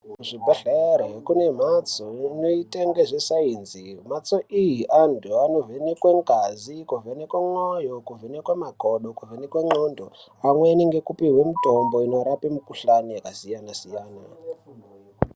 Kuzvibhehlere kune mhatso inoita ngezvesainzi mhatso iyi antu anovhenekwe ngazi, kuvenekwe mwoyo kuvhenekwe makodo kuvhenekwe ndxondo amweni ngekupihwa mitombo inorape mikhuhlani yakasiyana-siyana.